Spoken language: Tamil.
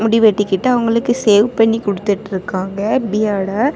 முடி வெட்டிக்கிட்டு அவங்களுக்கு சேவ் பண்ணி குடுத்துட்ருக்காங்க பியர்ட அ .